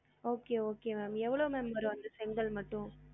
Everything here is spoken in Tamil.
Okay okay ma'am எவ்வளவு ma'am வரும் அந்த செங்கல் மட்டும்